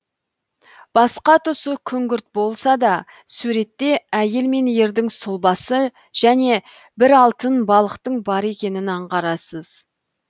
басқа тұсы күңгірт болса да суретте әйел мен ердің сұлбасы және бір алтын балықтың бар екенін аңғарасыз